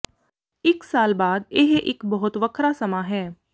ਇੱਕ ਸਾਲ ਬਾਅਦ ਇਹ ਇੱਕ ਬਹੁਤ ਵੱਖਰਾ ਸਮਾਂ ਹੈ